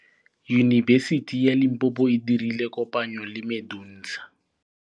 Yunibesiti ya Limpopo e dirile kopanyô le MEDUNSA.